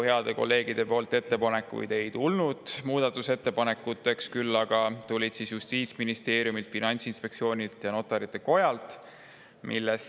Headelt kolleegidelt eelnõu muutmise ettepanekuid ei tulnud, küll aga tulid need Justiitsministeeriumilt, Finantsinspektsioonilt ja Notarite Kojalt.